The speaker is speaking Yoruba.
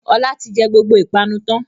Ọlá ti jẹ gbogbo ìpanu tán